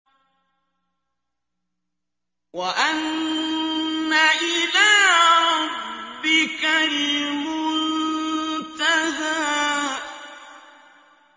وَأَنَّ إِلَىٰ رَبِّكَ الْمُنتَهَىٰ